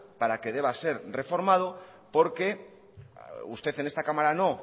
para que deba ser reformado porque usted en esta cámara no